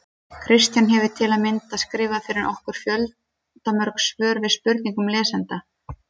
Kristján hefur til að mynda skrifað fyrir okkur fjöldamörg svör við spurningum lesenda.